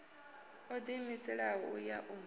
o ḓiimiselaho u ya u